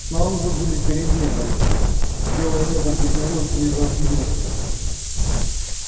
снаружи были перемены белое небо поднялось мир раздвинулся